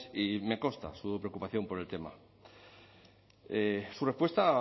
y me consta su preocupación por el tema su respuesta